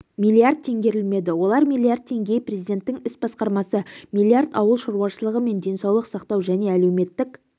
миллиард теңгерілмеді олар миллиард теңге президенттің іс басқармасы миллиард ауыл шаруашылығы мен денсаулық сақтау және әлеуметтік